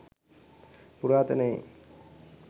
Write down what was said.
පුරාතනයේ